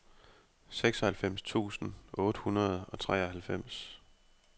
seksoghalvfems tusind otte hundrede og treoghalvfems